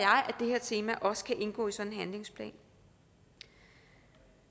det her tema også kan indgå i sådan en handlingsplan